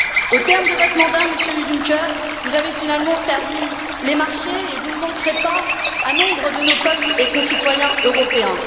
Au terme de votre mandat, Monsieur Juncker, vous avez finalement servi les marchés et vous ne manquerez pas à nombre de nos peuples et concitoyens européens.